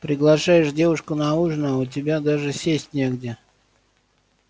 приглашаешь девушку на ужин а у тебя даже сесть негде